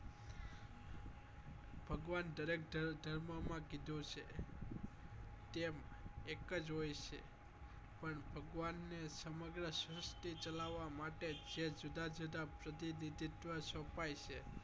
ભગવાન દરેક ધર્મ ધર્મ માં કીધું છે કે એમ એક જ હોય છે પણ ભગવાન ને સમગ્ર શ્રુષ્ટિ ચલવવા માટે જે જુદા જુદા પ્રતિનિધિત્વ અપાય છે